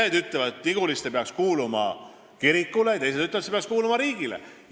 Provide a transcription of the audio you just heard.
Ühed ütlevad, et Niguliste peaks kuuluma kirikule, teised ütlevad, et peaks kuuluma riigile.